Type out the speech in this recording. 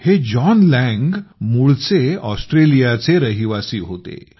हे John Lang मूळचे ऑस्ट्रेलियाचे रहिवासी होते